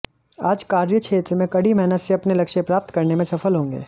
आज कार्यक्षेत्र में कड़ी मेहनत से अपने लक्ष्य प्राप्त करने में सफल होंगे